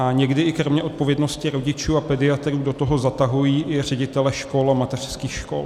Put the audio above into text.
A někdy i kromě odpovědnosti rodičů a pediatrů do toho zatahují i ředitele škol a mateřských škol.